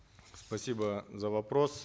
спасибо за вопрос